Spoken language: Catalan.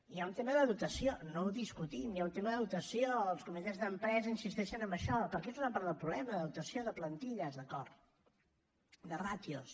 hi ha un tema de dotació no ho discutim hi ha un tema de dotació els comitès d’empresa insisteixen en això perquè és una part del problema de dotació de plantilles d’acord de ràtios